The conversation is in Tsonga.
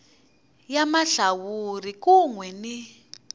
ya mahlawuri kun we ni